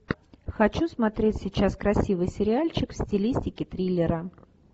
хочу смотреть сейчас красивый сериальчик в стилистике триллера